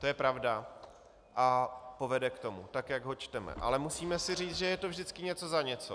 To je pravda a povede k tomu, tak jak ho čteme - ale musíme si říct, že je to vždycky něco za něco.